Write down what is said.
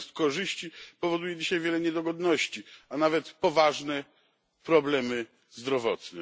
zamiast korzyści powoduje dzisiaj wiele niedogodności, a nawet poważne problemy zdrowotne.